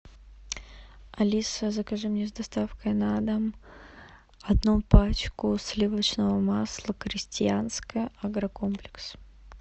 алиса закажи мне с доставкой на дом одну пачку сливочного масла крестьянское агрокомплекс